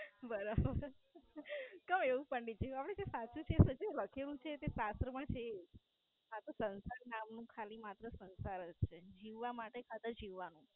બરાબર. કેમ એવું પંડિત જેવું? હવે જે સાચું છે જે લખેલું છે એ સાચું પણ છે. આ તો સંસાર નામ ખાલી માત્ર સંસાર જ છે જીવવા માટે ખાતર જીવવાનું.